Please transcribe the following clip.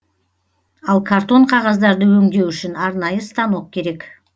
ал картон қағаздарды өңдеу үшін арнайы станок керек